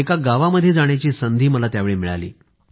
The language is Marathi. एका गावामध्ये जाण्याची संधी मला त्यावेळी मिळाली